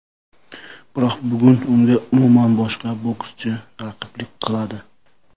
Biroq bugun unga umuman boshqa bokschi raqiblik qiladi.